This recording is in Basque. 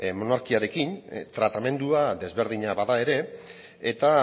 monarkiarekin tratamendua ezberdina bada ere eta